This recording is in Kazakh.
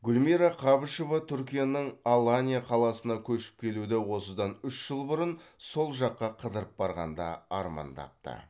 гүлмира қабышева түркияның аланья қаласына көшіп келуді осыдан үш жыл бұрын сол жаққа қыдырып барғанда армандапты